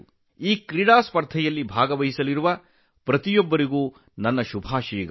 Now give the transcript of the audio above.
ಈ ಕ್ರೀಡಾಕೂಟದಲ್ಲಿ ಭಾಗವಹಿಸುವ ಪ್ರತಿಯೊಬ್ಬ ಕ್ರೀಡಾಪಟುವಿಗೂ ನನ್ನ ಶುಭಾಶಯಗಳು